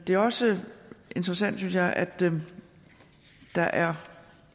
det er også interessant synes jeg at der er